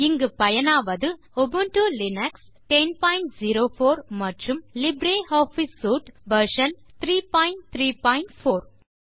இங்கு பயனாவது Ubuntu Linux 1004 மற்றும் லிப்ர் ஆஃபிஸ் சூட் வெர்ஷன் 334